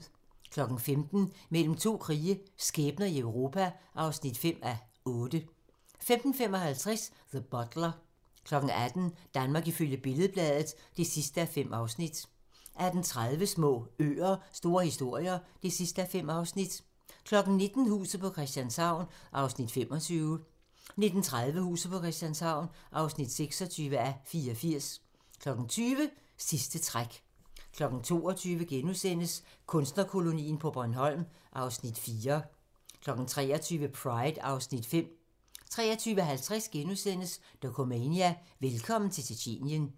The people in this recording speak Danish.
15:00: Mellem to krige - skæbner i Europa (5:8) 15:55: The Butler 18:00: Danmark ifølge Billed-Bladet (5:5) 18:30: Små øer – store historier (5:5) 19:00: Huset på Christianshavn (25:84) 19:30: Huset på Christianshavn (26:84) 20:00: Sidste træk 22:00: Kunstnerkolonien på Bornholm (Afs. 4)* 23:00: Pride (Afs. 5) 23:50: Dokumania: Velkommen til Tjetjenien *